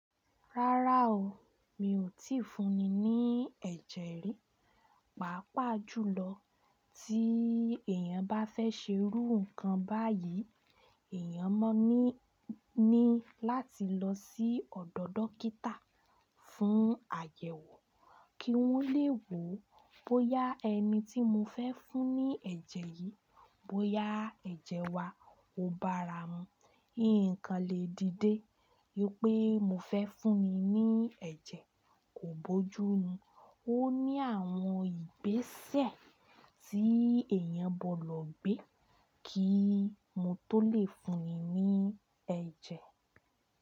Rárá o, mi ò tíì fún ni ní ẹ̀jẹ̀ rí. Pàápàá jùlọ tí èèyàn bá fẹ́ ṣe irú nǹkan báyìí, èèyàn mọ̀ ni ni láti lọ sí ọ̀dọ̀ dókítà fún àyẹ̀wò kí wọ́n le wò ó bóyá ẹni tí mo fẹ́ fún ní ẹ̀jẹ̀ yìí, bóyá ẹ̀jẹ̀ wa ò báara mu. Nǹkan lè dìde pé mo fẹ́ fún ni ní ẹ̀jẹ̀ kò bójú ni. Ó ní àwọn ìgbésẹ̀ tí èèyàn gbọdọ̀ gbé kí mo tó lè fún ni ní ẹ̀jẹ̀.